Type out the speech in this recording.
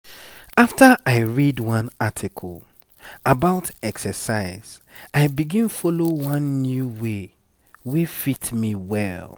after i read one article about exercise i begin follow one new way wey fit me well.